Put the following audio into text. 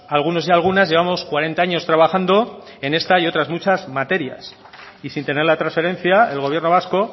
algunos y algunas llevamos cuarenta años trabajando en esta y otras muchas materias y sin tener la transferencia el gobierno vasco